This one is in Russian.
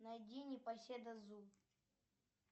найди непоседа зу